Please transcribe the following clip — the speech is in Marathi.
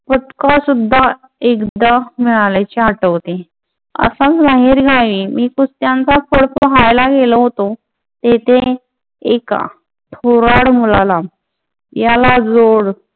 पतकं सुद्धा एकदा मिळाल्याचे आठवते. असाच बाहेरगावी मी कुस्त्यांचा फळ पाहायला गेलो होतो. तेथे एका मुलाला याला जोड जोड